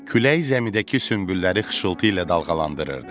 Külək zəmidəki sümbülləri xışıltı ilə dalğalandırırdı.